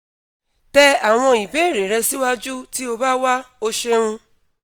tẹ awọn ibeere rẹ siwaju ti o ba wao ṣeun